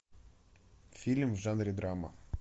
фильм в жанре драма